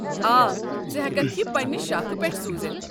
آ، ژٕ ہٮ۪ککھ یہِ پنٛنہِ شاخہٕ پٮ۪ٹھٕہ سوٗزتھ۔